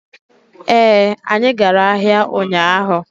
ee, anyi gara ahia unyahu